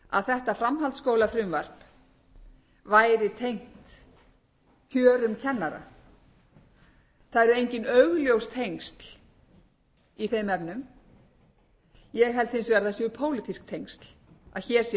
þetta framhaldsskólafrumvarp væri tengt kjörum kennara það eru engin augljós tengsl í þeim efnum ég held hins vegar að það séu pólitísk tengsl að hér sé